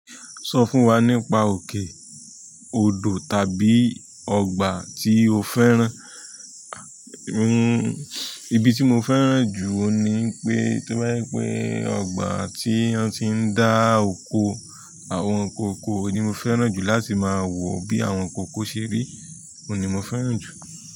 Sọ fún wa nípa òkè, òdò tàbí ọgbà tí o fẹ́ràn. Ibi tí mo fẹ́ràn jù oùn ní pé, tí bá jẹ́ pè ọgbà tí wọ́n ti ń dá oko, àwọn nkan oko ni mo fẹ́ràn jù láti máa wò bí àwọn ǹkan oko ṣe rí, òní mo fẹ́ràn jù.